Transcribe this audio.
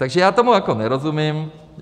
Takže já tomu jako nerozumím.